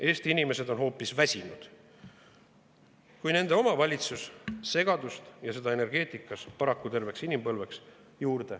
Eesti inimesed on hoopis väsinud, kui nende oma valitsus segadust juurde tekitab, ja seda energeetikas paraku terveks inimpõlveks.